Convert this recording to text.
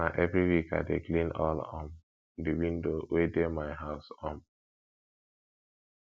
na every week i dey clean all um di window wey dey my house um